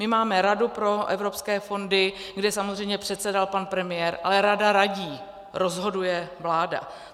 My máme Radu pro evropské fondy, kde samozřejmě předsedal pan premiér, ale rada radí, rozhoduje vláda.